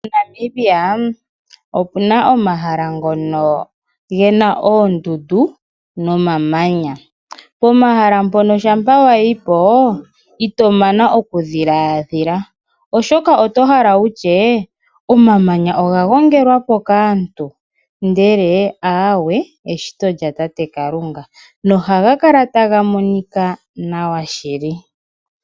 moNamibia opuna omahala ngono gena ondundu nomamanya pomahala pono shapa wayipo itomana oku dhiladhila oshoka otohala wutye omamanya oga gongelwapo kaantu ndele aawe eshito lyatate kalunga nohagakala tagamonika nawa shili.